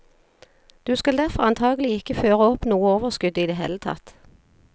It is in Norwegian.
Du skal derfor antagelig ikke føre opp noe overskudd i det hele tatt.